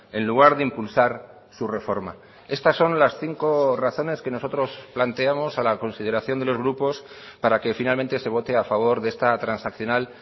en lugar de impulsar su reforma estas son las cinco razones que nosotros planteamos a la consideración de los grupos para que finalmente se vote a favor de esta transaccional